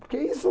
Porque é isso.